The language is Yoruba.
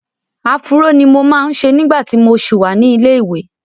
Afúró ni mo máa ń ṣe nígbà tí mo ṣì wà ní ilé-ìwẹ́.